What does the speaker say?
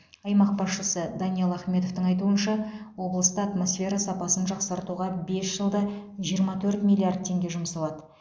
аймақ басшысы даниал ахметовтың айтуынша облыста атмосфера сапасын жақсартуға бес жылда жиырма төрт миллиард теңге жұмсалады